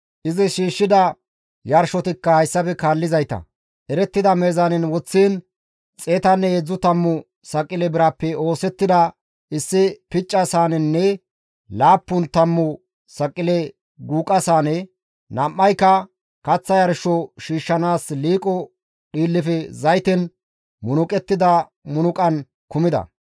Izi shiishshida yarshotikka hayssafe kaallizayta, erettida meezaanen woththiin xeetanne heedzdzu tammu saqile birappe oosettida issi picca saanenne laappun tammu saqile guuqa saane, nam7ayka kaththa yarsho shiishshanaas liiqo dhiillefe zayten munuqettida munuqan kumida.